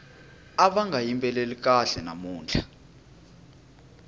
ava nga yimbeleli kahle namuntlha